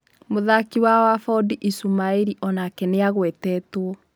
Mũthaki wa Wabondi Ishumaĩri onake nĩagũetetwo.